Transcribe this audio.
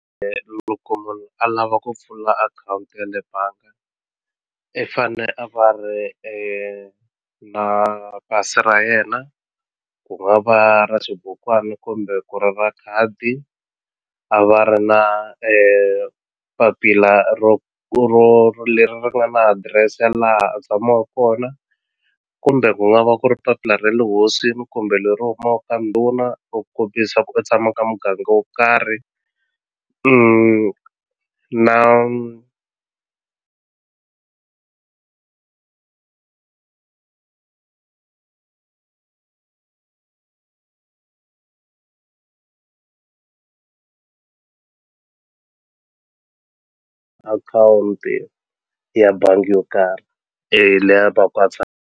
Loko munhu a lava ku pfula akhawunti ya le banga i fane a va ri na pasi ra yena ku nga va ra xibukwani kumbe ku ri va khadi a va ri na papila ro ro leri ri nga na adirese ya laha a tshamaku kona kumbe ku nga va ku ri papila ra le hosini kumbe leri humaku ka ndhuna ro ku u tshama ka muganga wo karhi na akhawunti ya bangi yo karhi leyi a va ku a .